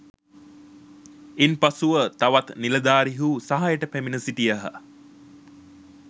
ඉන් පසුව තවත් නිලධාරීහු සහායට පැමිණ සිටියහ